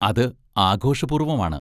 അത് ആഘോഷപൂർവ്വമാണ്.